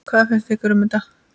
Hvað finnst ykkur um þetta?